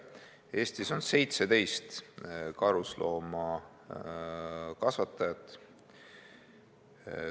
Eestis on 17 karusloomakasvatajat.